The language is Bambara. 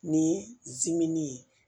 Ni zimini ye